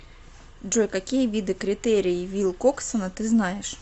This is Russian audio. джой какие виды критерий вилкоксона ты знаешь